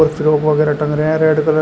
frock वगैरा टंग रहे रेड कलर --